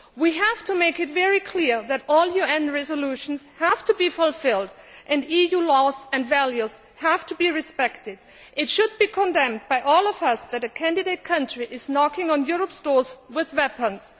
We have to make it very clear that all UN resolutions have to be fulfilled and EU laws and values have to be respected. It should be condemned by all of us that a candidate country is knocking on Europe's doors with weapons.